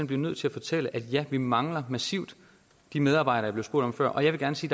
bliver nødt til at fortælle at ja der mangler massivt de medarbejdere jeg blev spurgt om før og jeg vil gerne sige